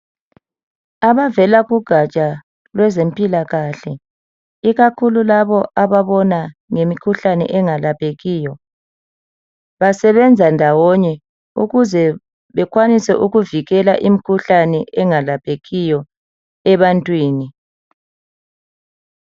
Abavela kugaja lwezempilakahle, ikakhulu ababona ngokwemikhuhlane engalaphekiyo, basenza ndawonye ukuze bekwanise ukuvikela imikhuhlane engalaphekiyo ebantwini.